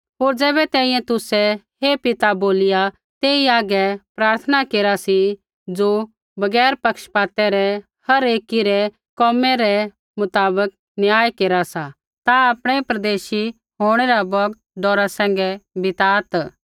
होर ज़ैबै तैंईंयैं तुसै हे पिता बोलिया तेई हागै प्रार्थना केरा सी ज़ो बगैर पक्षपातै रै हर एकी रै कोमै रै मुताबक न्याय केरा सा ता आपणै परदेशी होंणै रा बौगत डौरा सैंघै बिता